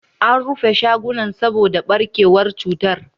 An rufe shagunan saboda barkewar cutar.